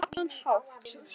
Á allan hátt.